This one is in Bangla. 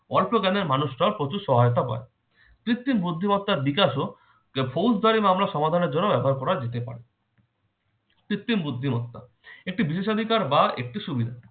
অল্প জ্ঞানের মানুষরাও প্রচুর সহায়তা পায়। কৃত্তিম বুদ্ধিমত্তার বিকাশও ফৌজদারি মামলা সমাধানের জন্য ব্যবহার করা যেতে পারে। কৃত্রিম বুদ্ধিমত্তা একটি বিশেষ অধিকার বা একটি সুবিধা।